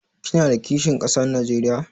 Kina da kishin kasa Najeriya?